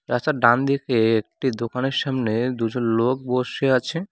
রাস্তার ডানদিকে একটি দোকানের সামনে দুজন লোক বসে আছে।